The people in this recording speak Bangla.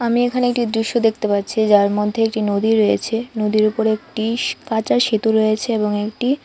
আমি এখানে একটি দৃশ্য দেখতে পাচ্ছি যার মধ্যে একটি নদী রয়েছে নদীর উপর একটি কাঁচা সেতু রয়েছে এবং একটি--